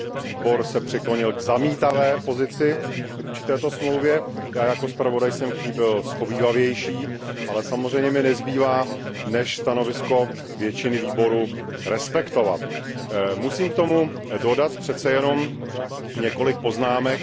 Výbor se přiklonil k zamítavé pozici vůči této dohodě. Já jako navrhovatel jsem k ní byl shovívavější, ale samozřejmě mi nezbývá než stanovisko většiny výboru respektovat. Musím k tomu dodat přece jenom několik poznámek.